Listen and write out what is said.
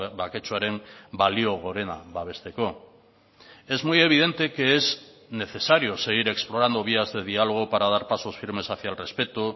baketsuaren balio gorena babesteko es muy evidente que es necesario seguir explorando vías de diálogo para dar pasos firmes hacia el respeto